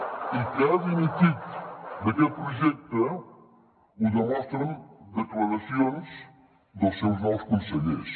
i que ha dimitit d’aquest projecte ho demostren declaracions dels seus nous consellers